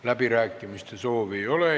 Läbirääkimiste soovi ei ole.